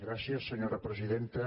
gràcies senyora presidenta